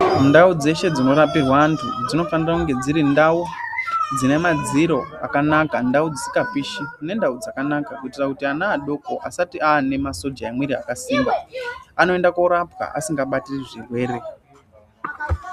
Ndau dzeshe dzinorapirwe antu, dzinofanira kunge dziri ndau ,dzine madziro akanaka, ndau dzisikapishi, nendau dzakanaka, kuitira kuti ana adoko asati aane masoja emiri akasimba, anoenda koorapiwa asingabatiri zvirwere